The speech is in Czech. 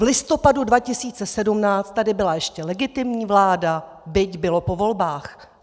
V listopadu 2017 tady byla ještě legitimní vláda, byť bylo po volbách.